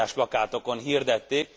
Ezt óriásplakátokon hirdették.